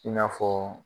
I n'a fɔ